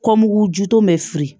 Kɔmugu ju bɛ siri